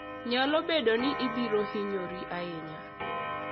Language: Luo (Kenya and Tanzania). Nyalo bedo ni ibiro hinyori ahinya.